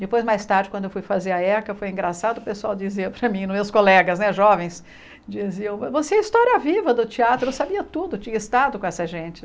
Depois, mais tarde, quando eu fui fazer a Eca, foi engraçado, o pessoal dizia para mim, os meus colegas né jovens diziam, você é a história viva do teatro, eu sabia tudo, tinha estado com essa gente.